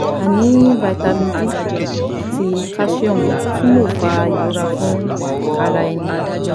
Aini Vitamin D ati calcium tun le fa irora fun ara eni